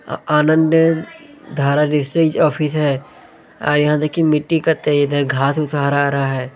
अ Anand Dhara district office है आर यहाँ देखिए मिट्टी कते घास-उस हरा-हरा है।